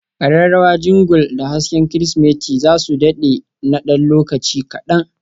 kararrawa Jingle da hasken Kirsimeti za su dade na ɗan lokaci kaɗan.